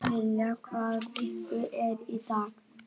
Lillian, hvaða vikudagur er í dag?